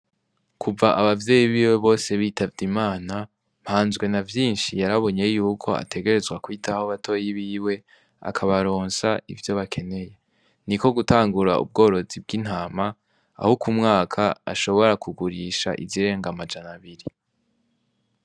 Kuva abavyeyi biwe bose bitavye imana mpanzwe na vyinshi yarabonye yuko ategerezwa kwitaho batoyi biwe akabaronsha ivyo bakeneye ni ko gutangura ubworozi bw'intama ahouku mwaka ashobora kugurisha izirenga amajana abiri.